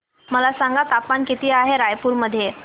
मला सांगा तापमान किती आहे रायपूर मध्ये